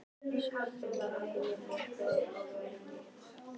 Sörli, kveiktu á sjónvarpinu.